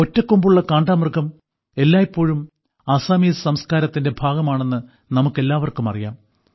ഒറ്റക്കൊമ്പുള്ള കാണ്ടാമൃഗം എല്ലായ്പ്പോഴും അസാമീസ് സംസ്കാരത്തിന്റെ ഭാഗമാണെന്ന് നമുക്ക് എല്ലാവർക്കും അറിയാം